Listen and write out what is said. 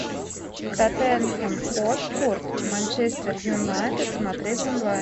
тоттенхэм хотспур манчестер юнайтед смотреть онлайн